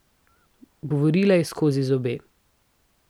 Govorila je skozi zobe.